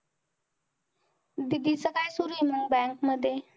दीदी च काय सुरुये मंग bank मध्ये?